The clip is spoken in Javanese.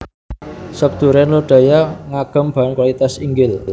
Sop Duren Lodaya ngagem bahan kualitas inggil